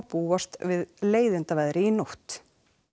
búast við leiðindaveðri í nótt